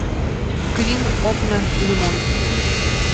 квин окна лимон